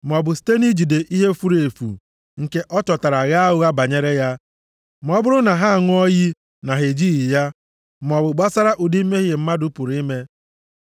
maọbụ site nʼijide ihe furu efu nke ọ chọtara ghaa ụgha banyere ya. Ma ọ bụrụ na ha a ṅụọ iyi na ha ejighị ya, maọbụ gbasara ụdị mmehie mmadụ pụrụ ime.